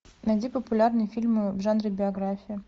найди популярные фильмы в жанре биография